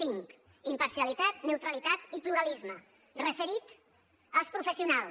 cinc imparcialitat neutralitat i pluralisme referit als professionals